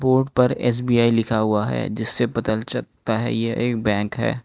Board पर S B I लिखा हुआ है जिससे पता चलता है यह एक बैंक है।